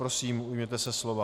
Prosím, ujměte se slova.